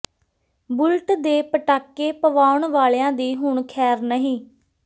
bullet ਦੇ ਪਟਾਕੇ ਪਵਾਉਣ ਵਾਲਿਆਂ ਦੀ ਹੁਣ ਖੈਰ ਨਹੀਂ